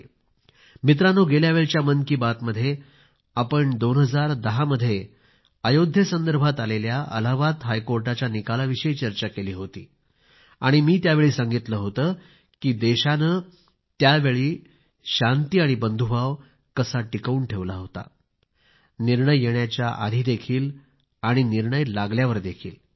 मित्रांनो गेल्यावेळच्या मन की बात मध्ये आपण 2010 मध्ये आयोध्या प्रकरणात आलेल्या अलाहाबाद हायकोर्टाच्या निकाला विषयी चर्चा केली होती आणि मी त्यावेळी सांगितले होते की देशाने त्यावेळी निर्णय येण्याच्या आधीदेखील आणि निर्णय लागल्यावर देखील शांती आणि बंधुभाव कसा टिकवून ठेवला होता